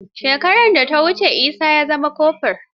Shekarar da ta wuce Isa ya zama kofur.